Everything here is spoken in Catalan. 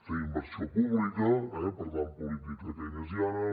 fer inversió pública eh per tant política keynesiana